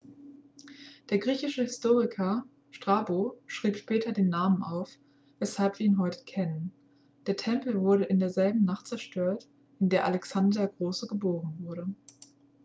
der griechische historiker strabo schrieb später den namen auf weshalb wir ihn heute kennen der tempel wurde in derselben nacht zerstört in der alexander der große geboren wurde